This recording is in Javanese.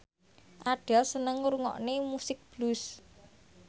Adele seneng ngrungokne musik blues